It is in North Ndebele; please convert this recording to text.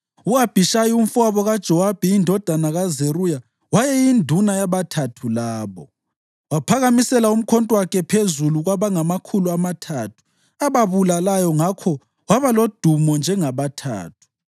U-Abhishayi umfowabo kaJowabi indodana kaZeruya wayeyinduna yabaThathu labo. Waphakamisela umkhonto wakhe phezu kwabangamakhulu amathathu, ababulalayo, ngakho waba lodumo njengabaThathu.